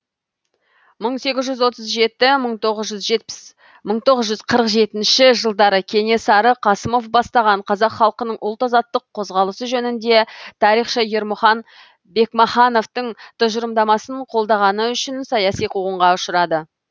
мың сегіз жүз отыз жеті мың тоғыз жүз қырық жетінші жылдары кенесары қасымов бастаған қазақ халқының ұлт азаттық қозғалысы жөнінде тарихшы ермұхан бекмахановтың тұжырымдамасын қолдағаны үшін саяси қуғынға ұшырады